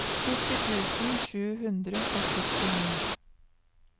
sytti tusen sju hundre og syttini